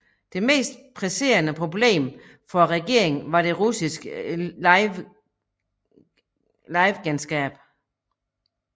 Det mest presserende problem for regeringen var det russiske livegenskab